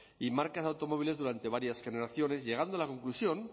y marcas de automóviles durante varias generaciones llegando a la conclusión